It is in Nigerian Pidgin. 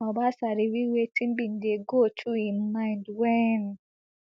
obasa reveal wetin bin dey go through im mind wen